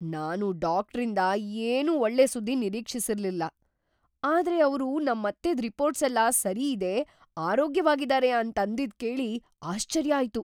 ನಾನು ಡಾಕ್ಟ್ರಿಂದ ಏನೂ ಒಳ್ಳೆ ಸುದ್ದಿ ನಿರೀಕ್ಷಿಸಿರ್ಲಿಲ್ಲ. ಆದ್ರೆ ಅವ್ರು ನಮ್ಮತ್ತೆದ್‌ ರಿಪೋರ್ಟ್ಸೆಲ್ಲ ಸರಿಯಿದೆ, ಆರೋಗ್ಯವಾಗಿದಾರೆ ಅಂತಂದಿದ್‌ ಕೇಳಿ ಆಶ್ಚರ್ಯ ಆಯ್ತು!